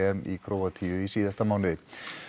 í Króatíu í síðasta mánuði